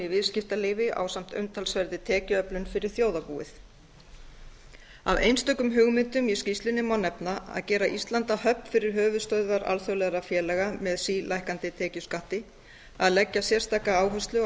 viðskiptalífi ásamt umtalsverðri tekjuöflun fyrir þjóðarbúið af einstökum hugmyndum í skýrslunni má nefna að gera ísland að höfn fyrir höfuðstöðvar alþjóðlegra félaga með sílækkandi tekjuskatti að leggja sérstaka áherslu á